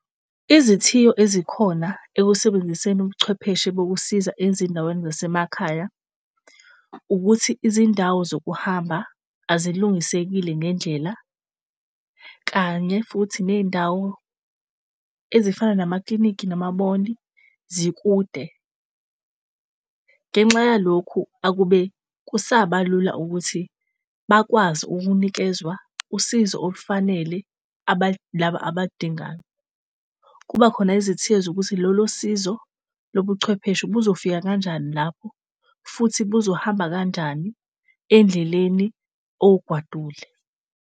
Izithiyo ezikhona ekusebenziseni ubuchwepheshe bokusiza ezindaweni zasemakhaya, ukuthi izindawo zokuhamba azilungisekile ngendlela kanye futhi ney'ndawo ezifana namaklinikhi nama-mall zikude. Ngenxa yalokhu, akube kusaba lula ukuthi bakwazi ukunikezwa usizo olufanele laba abaludingayo. Kuba khona ezithiyo zokuthi lolu sizo lobuchwepheshe buzofika kanjani lapho futhi buzohamba kanjani endleleni owugwadule?